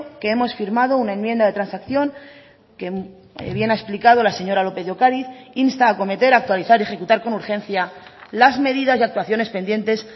que hemos firmado una enmienda de transacción que bien ha explicado la señora lópez de ocariz insta a cometer actualizar y ejecutar con urgencia las medidas y actuaciones pendientes